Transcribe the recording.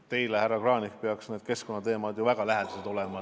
Teile, härra Kranich, peaks keskkonnateemad väga lähedased olema.